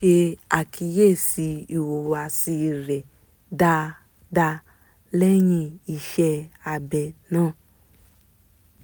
wọ́n ṣe àkíyèsí ìhùwàsí rẹ̀ dáadáa lẹ́yìn iṣẹ́ abẹ náà